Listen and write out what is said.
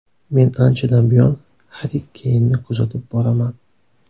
Men anchadan buyon Harri Keynni kuzatib boraman.